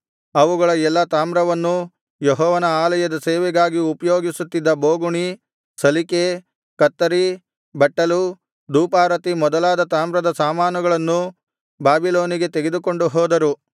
ಅವುಗಳ ಎಲ್ಲಾ ತಾಮ್ರವನ್ನೂ ಯೆಹೋವನ ಆಲಯದ ಸೇವೆಗಾಗಿ ಉಪಯೋಗಿಸುತ್ತಿದ್ದ ಬೋಗುಣಿ ಸಲಿಕೆ ಕತ್ತರಿ ಬಟ್ಟಲು ಧೂಪಾರತಿ ಮೊದಲಾದ ತಾಮ್ರದ ಸಾಮಾನುಗಳನ್ನೂ ಬಾಬಿಲೋನಿಗೆ ತೆಗೆದುಕೊಂಡು ಹೋದರು